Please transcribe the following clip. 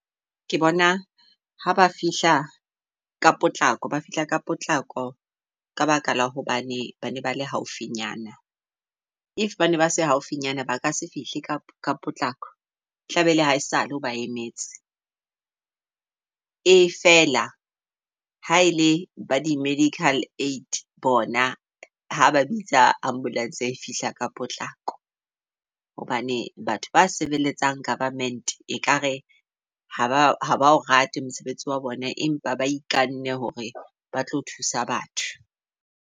Ke bona ha ba fihla ka potlako, ba fihla ka potlako ka baka la hobane bane ba le haufinyana. If ba ne ba se haufinyana baka se fihle ka potlako tlabe ele hae sale o ba emetse. E fela ha ele ba di-medical aid bona ha ba bitsa ambulance e fihla ka potlako. Hobane batho ba sebeletsang government ekare ha ba o rate mosebetsi wa bona. Empa ba ikanne hore ba tlo thusa batho.